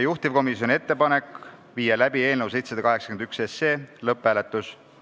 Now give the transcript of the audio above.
Juhtivkomisjoni ettepanek: viia läbi eelnõu 781 lõpphääletus.